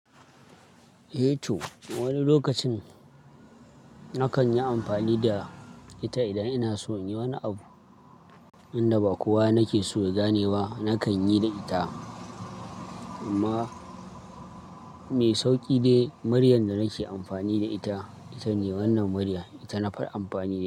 Eh to, wani lokacin nakan yi amfani da ita idan ina so in yi wani abu inda ba kowa nake so ya gane ba, nakan yi da ita. Amma mai sauki dai muryar da nike ammani da ita itane wannan muryar ita na fara amfani.